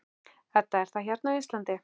Edda: Er það hérna á Íslandi?